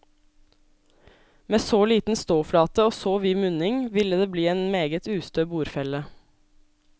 Med så liten ståflate og så vid munning ville det bli en meget ustø bordfelle.